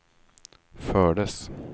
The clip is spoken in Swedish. fördes